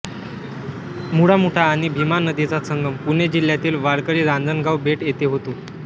मुळामुठा आणि भीमा नदीचा संगम पुणे जिल्ह्यातील वाळकीरांजणगाव बेट येथे होतो